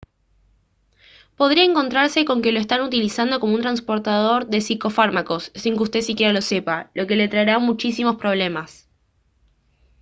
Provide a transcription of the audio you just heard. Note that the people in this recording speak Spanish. podría encontrarse con que lo están utilizando como un trasportador de psicofármacos sin que usted siquiera lo sepa lo que le traerá muchísimos problemas